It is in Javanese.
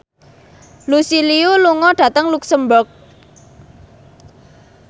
Lucy Liu lunga dhateng luxemburg